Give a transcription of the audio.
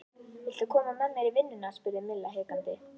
Viltu koma með mér í vinnuna? spurði Milla hikandi.